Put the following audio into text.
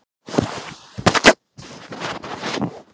Sjónboð frá vinstra sjónsviði berast fyrst til hægra heilahvels.